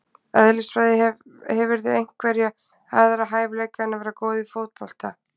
Eðlisfræði Hefurðu einhverja aðra hæfileika en að vera góð í fótbolta?